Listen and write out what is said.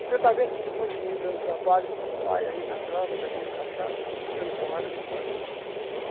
Você está vendo esse monte de menino dando trabalho para os pais aí na droga, bebendo cachaça, dando porrada nos outros?